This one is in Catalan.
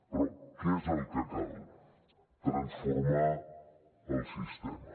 però què és el que cal transformar el sistema